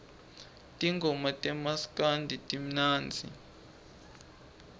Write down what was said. tingoma tamaskandi timnandzi